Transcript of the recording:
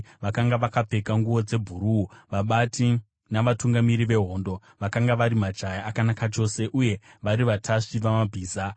vakanga vakapfeka nguo dzebhuruu, vabati navatungamiri vehondo, vakanga vari majaya akanaka chose, uye vari vatasvi vamabhiza.